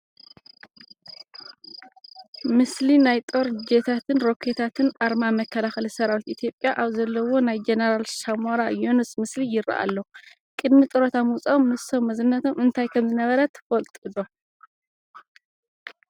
ምስሊ ናይ ጦር ጀታትን ሮኬታትን ኣርማ መከላኸሊ ሰራዊት ኢትዮጵያ ኣብ ዘለዉዎ ናይ ጀነራል ሳሞራ የኑስ ምስሊ ይርአ ኣሎ፡፡ ቅድሚ ጡረታ ምውፅኦም ንሶም መዝነቶም እንታይ ከምዝነበረ ትፈልጡ ዶ?